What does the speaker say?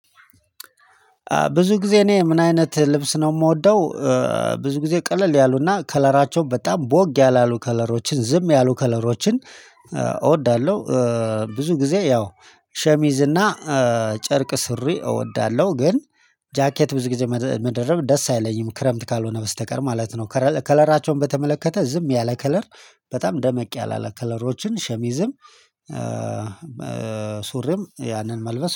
ብዙ ጊዜ እኔ ምን አይነት ልብስ ነው የምወደው? ብዙ ጊዜ ቀለል ያሉና ከለራቸው በጣም ቦግ ያላሉ ከለሮችን ዝም ያሉ ከለሮችን እወዳለሁ። ብዙ ጊዜ ያው ሸሚዝ እና ጨርቅ ሱሪ እወዳለሁ። ግን ጃኬት ብዙ ጊዜ መደረብ ደስ አይለኝም ክረምት ካልሆነ በስተቀር ማለት ነው። ከለራቸውን በተመለከተ ዝም ያለ ከለር በጣም ደመቅ ያለ ከለሮችን ሸሚዝም ሱሪም ያንን መልበስ